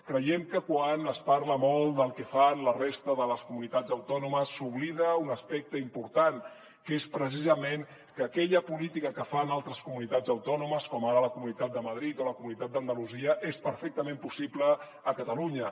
creiem que quan es parla molt del que fan la resta de les comunitats autònomes s’oblida un aspecte important que és precisament que aquella política que fan altres comunitats autònomes com ara la comunitat de madrid o la comunitat d’andalusia és perfectament possible a catalunya